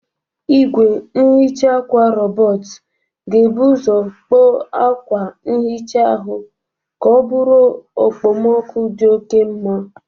Igwe nhicha akwa robotu ga-ebu ụzọ kpoo akwa nhicha ahụ ka ọ bụrụ okpomọkụ dị oke mma.